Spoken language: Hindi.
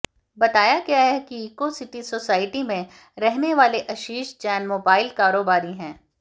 बताया गया कि इको सिटी सोसाइटी में रहने वाले आशीष जैन मोबाइल कारोबारी हैं